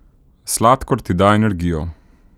Sladkor ti da energijo.